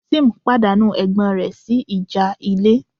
Tim pàdánù ẹ̀gbọ́n rẹ̀ sí ìjà ilé